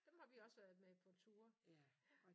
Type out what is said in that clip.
Dem har vi også været med på turer ja